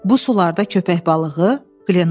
“Bu sularda köpək balığı?”